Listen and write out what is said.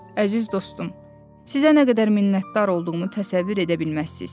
Əziz dostum, sizə nə qədər minnətdar olduğumu təsəvvür edə bilməzsiz.